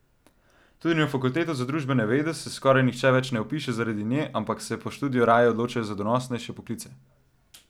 Tudi na fakulteto za družbene vede se skoraj nihče več ne vpiše zaradi nje, ampak se po študiju raje odločajo za donosnejše poklice.